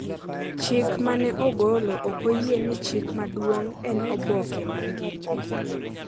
Chik ma ne ogolo ok oyie ni chik maduong’ en oboke ma ngima .